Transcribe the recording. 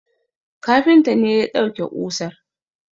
Kafintan ne ya dauke kusar